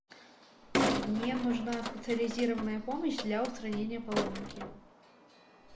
мне нужна специализированная помощь для устранения поломки